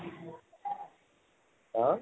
অহ